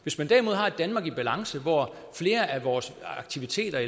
hvis man derimod har et danmark i balance hvor flere af vores aktiviteter